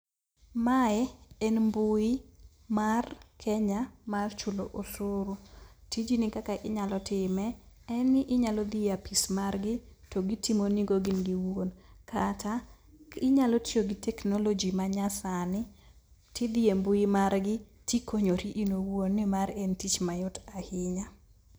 Mae en mbui mar Kenya mar chulo osuru. Tijni kaka inyalo time, en ni inyalo dhi apis margi to gitimonigo gin giwuon. Kata inyalo tiyo gi technology manyasani, tidhi e mbui margi, tikonyori in iwuon nimar en tich mayot ahinya.